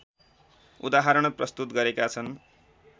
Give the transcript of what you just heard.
उदाहरण प्रस्तुत गरेका छन्